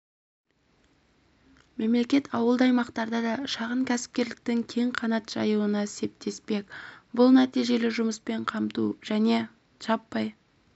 мемлекет ауылды аймақтарда да шағын кәсіпкерліктің кең қанат жаюына септесбек бұл нәтижелі жұмыспен қамту және жаппай